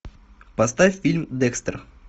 поставь фильм декстер